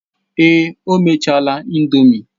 Èè, o mechaala indomie.